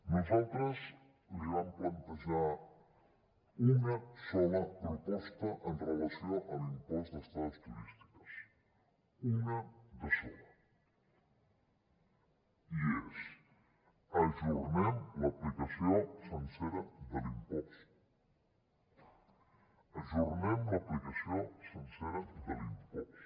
nosaltres li vam plantejar una sola proposta amb relació a l’impost d’estades turístiques una de sola i és ajornem l’aplicació sencera de l’impost ajornem l’aplicació sencera de l’impost